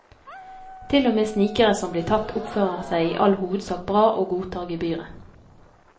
Til og med snikere som blir tatt, oppfører seg i all hovedsak bra og godtar gebyret.